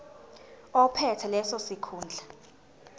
ophethe leso sikhundla